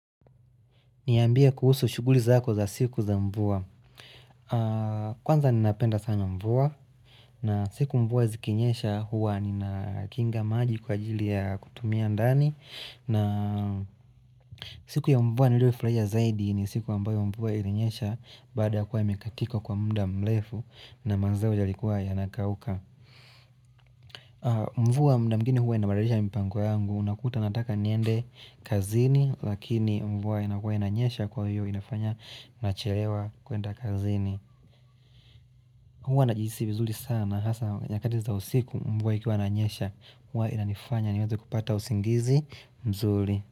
Niambie kuhusu shughuli zako za siku za mvua. Kwanza ninapenda sana mvua. Na siku mvua zikinyesha huwa nina kinga maji kwa ajili ya kutumia ndani. Na siku ya mvua niliyofurahia zaidi ni siku ambayo mvua ilinyesha baada kuwa imekatika kwa mda mrefu na mazao yalikuwa yanakauka. Mvua mda mwingine huwa inabidilisha mipango yangu. Unakuta nataka niende kazini lakini mvua inakua inanyesha kwa hiyo inafanya nachelewa kwenda kazini huwa najihisi vizuri sana hasa nyakati za usiku mvua ikiwa inanyesha huwa inanifanya niweze kupata usingizi mzuri.